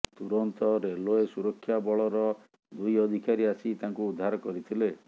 ତୁରନ୍ତ ରେଲେଓ୍ୱ ସୁରକ୍ଷା ବଳର ଦୁଇ ଅଧିକାରୀ ଆସି ତାଙ୍କୁ ଉଦ୍ଧାର କରିଥିଲେ